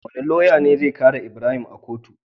Wane loya ne zai kare ibrahim a kotu?